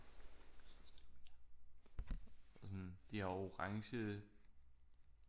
Og sådan de har orange